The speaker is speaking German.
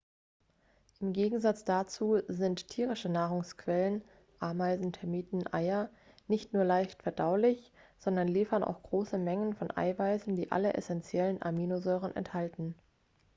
im gegensatz dazu sind tierische nahrungsquellen ameisen termiten eier nicht nur leicht verdaulich sondern liefern auch große mengen von eiweißen die alle essentiellen aminosäuren enthalten